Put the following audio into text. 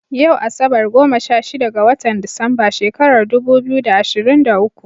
Yau asabar, goma sha shida ga watan Disamba shekarar dubu biyu da ashirin da uku.